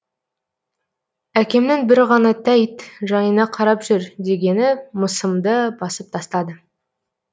әкемнің бір ғана тәйт жайыңа қарап жүр дегені мысымды басып тастады